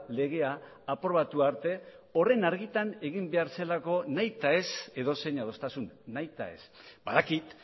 legea aprobatu arte horren argitan egin behar zelako nahitaez edozein adostasun nahitaez badakit